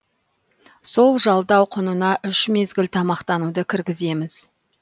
сол жалдау құнына үш мезгіл тамақтануды кіргіземіз